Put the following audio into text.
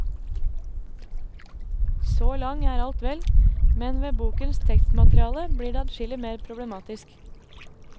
Så lang er alt vel, men ved bokens tekstmateriale blir det adskillig mer problematisk.